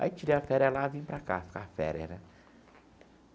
Aí tirei a férias lá e vim para cá, ficar férias né.